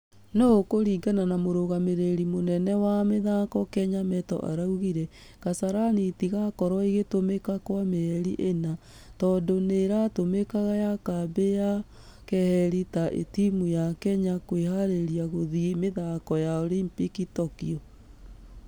Nũ kũringana na mũrũgamĩrĩri mũnene wa mĩthako kenya metto araugire kasarani ....itigakorwo igĩtũmĩkakwamieri ĩna. Tũndũ nĩira tũmĩka ta kambĩ ya keheri ya timũ ya kenya kwĩharĩria gũthie mĩthako ya olympic tokyo.